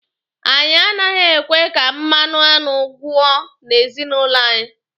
Anyị anaghị ekwe ka mmanụ aṅụ gwọ n'ezinụlọ anyị.